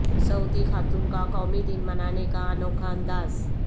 سعودی خاتون کا قومی دن منانے کا انوکھا انداز